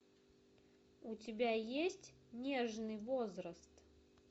у тебя есть нежный возраст